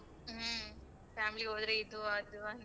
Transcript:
ಹ್ಮ. family ಹೋದ್ರೆ ಇದು ಅದು ಅಂತ.